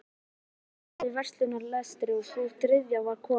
Tvær þeirra stóðu í verslunarrekstri en sú þriðja var kona